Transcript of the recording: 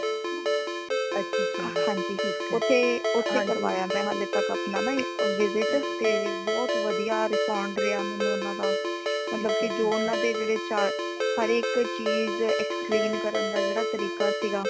ਹਾਂਜੀ {overlap }ਉਥੇ {overlap }ਉਥੇ ਕਰਵਾਇਆ ਹੈ ਮੈਂ ਹਾਲੇ ਤਕ ਅਪਣਾ ਨਾ visit ਤੇ ਬਹੁਤ ਵਧੀਆ respond ਰਯਾ ਮੈਨੂੰ ਓਨਾ ਦਾ ਮਤਲਬ ਕਿ ਜੋ ਓਨਾ ਦੇ ਜੇੜੇ ਹਰ ਏਕ ਚੀਜ਼ explain ਕਰਨ ਦਾ ਜੇੜਾ ਤਰੀਕਾ ਸਿਗਾ